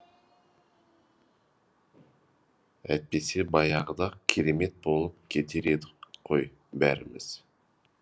әйтпесе баяғыда ақ керемет болып кетер едік қой бәріміз